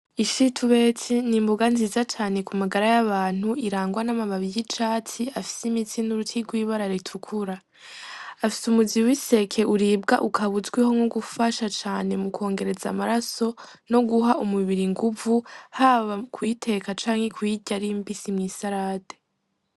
Ishitubetsi ni imboga nziza cane ku magara y'abantu irangwa n'amababi y'icatsi afise imitsi n'uruti rw'ibara ritukura, afise umuzi w'iseke uribwa ukaba uzwi nko gufasha cane mu kwongereza amaraso no guha umubiri inguvu haba mu kuyiteka canke kuyirya ari mbisi mw'isarade.